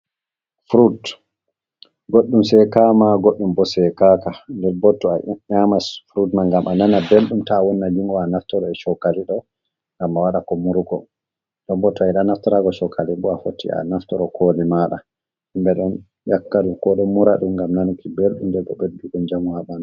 Frut, goɗɗum seekama goɗɗum bo seekaka. Nden bo to a nyaman frut mai ngam a nana belɗum ta a wonna jungo ma a naftira e shokali ɗo, ngam a waɗa ko murugo. Non bo to a yiɗaa a naftora shookali bo a foti a naftoro koli maaɗa. Himɓe ɗo ƴakka ɗum, ko ɗo mura ɗum ngam nanuki belɗum nden be ɓeddugo njamu haa ɓandu.